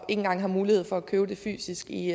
engang har mulighed for at købe det fysisk i